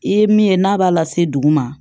I ye min ye n'a b'a la se duguma